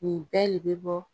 Nin bɛɛ le be bɔ